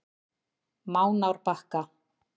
Mánárbakka